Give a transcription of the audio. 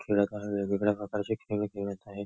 वेगवेगळ्या प्रकारचे खेळत आहे.